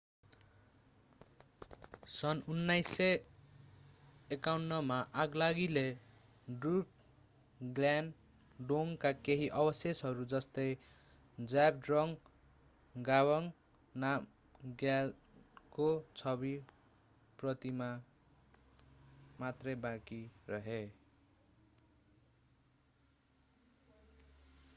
सन् 1951 मा आगलागीले ड्रुकग्याल डोङका केही अवशेषहरू जस्तै जाब्ड्रङ गवांग नामग्यालको छवि प्रतिमा मात्रै बाँकी रहे